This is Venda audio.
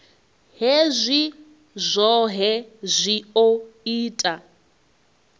hezwi zwohe zwi o ita